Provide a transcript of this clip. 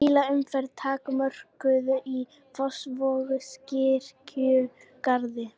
Bílaumferð takmörkuð í Fossvogskirkjugarði